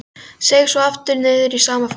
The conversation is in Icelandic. Seig svo aftur niður í sama farið.